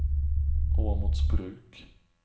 Åmotsbruk